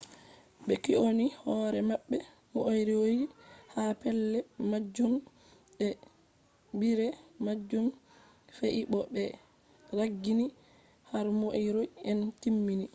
be kyoni hore mabbe moriori ha pelle majum de hebire majum fe'i bo be ragginibe har moriori en timmi